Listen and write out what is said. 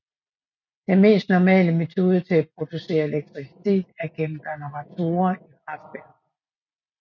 Den mest normale metode til at producere elektricitet er gennem generatorer i kraftværker